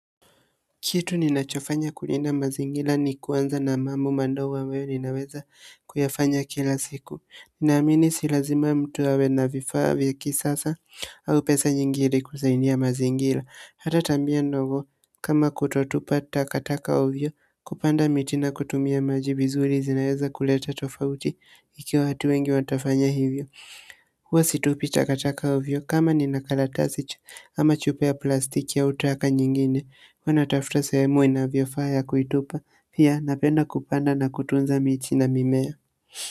Kitu ninachofanya kulinda mazingira ni kuanza na mambo mandogo ambayo ninaweza kuyafanya kila siku. Ninaamini si lazima mtu awe na vifaa vya kisasa au pesa nyingi ili kusaidia mazingira. Hata tabia ndogo kama kutotupa takataka ovyo, kupanda miti na kutumia maji vizuri zinaweza kuleta tofauti ikiwa watu wengi watafanya hivyo huwa situpi takataka ovyo, kama nina karatasi ama chupa ya plastiki au taka nyingine, huwa natafuta sehemu inavyofaa ya kuitupa pia napenda kupanda na kutunza miti na mimea.